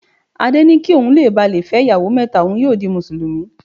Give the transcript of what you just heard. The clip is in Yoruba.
Adé ni kí ohun le bà lé fẹ́ ìyàwó mẹ́ta, ohun yóò di Mùsùlùmí.